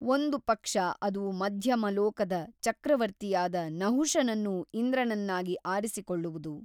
ಒಂದು ಪಕ್ಷ ಅದು ಮಧ್ಯಮಲೋಕದ ಚಕ್ರವರ್ತಿಯಾದ ನಹುಷನನ್ನು ಇಂದ್ರನನ್ನಾಗಿ ಆರಿಸಿಕೊಳ್ಳುವುದು.